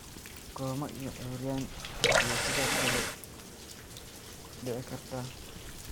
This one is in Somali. Kooma iyo curyaan ayaa sidoo kale dhici karta.